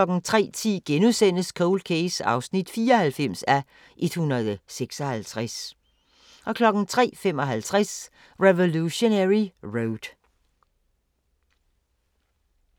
03:10: Cold Case (94:156)* 03:55: Revolutionary Road